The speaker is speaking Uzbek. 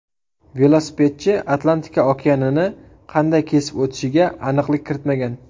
Velosipedchi Atlantika okeanini qanday kesib o‘tishiga aniqlik kiritmagan.